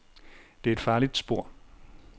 Det er et farligt spor.